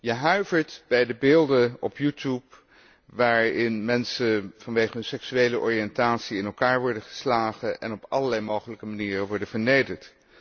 Je huivert bij de beelden op YouTube waarin mensen vanwege hun seksuele oriëntatie in elkaar worden geslagen en op allerlei mogelijke manieren worden vernederd.